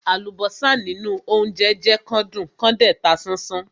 Àlùbọ́sà nínú óńjẹ jẹ́ kán dùn kán dẹ̀ ta sánsán.